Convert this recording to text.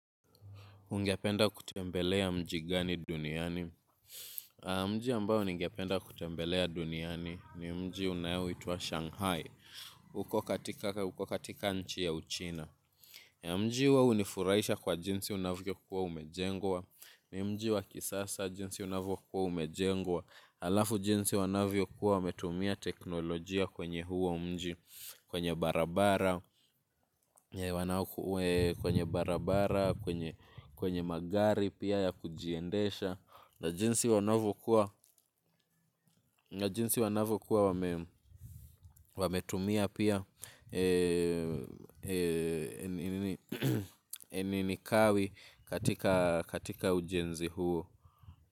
Ungependa kutembelea mji gani duniani? Mji ambayo ningependa kutembelea duniani ni mji unaoitwa Shanghai. Uko katika nchi ya uchina. Mji huo unifuraisha kwa jinsi unavyokua umejengwa. Ni mji wa kisasa jinsi unavyokua umejengwa. Alafu jinsi wanavyokua wametumia teknolojia kwenye huo mji. Kwenye barabara, kwenye barabara, kwenye magari pia ya kujiendesha na jinsi wanavokuwa wametumia pia nini kawi katika ujenzi huo.